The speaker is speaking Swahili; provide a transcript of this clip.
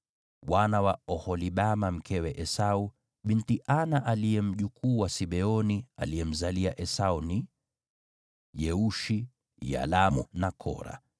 Wana wa Oholibama binti Ana, mkewe Esau, aliyekuwa mjukuu wa Sibeoni, aliomzalia Esau ni: Yeushi, Yalamu na Kora.